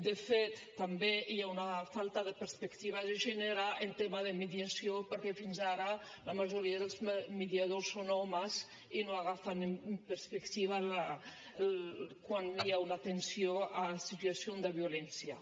de fet també hi ha una falta de perspectiva de gènere en tema de mediació perquè fins ara la majoria dels mediadors són homes i no agafen en perspectiva quan hi ha una atenció a situació de violència